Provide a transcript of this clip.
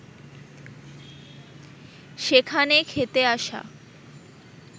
সেখানে খেতে আসা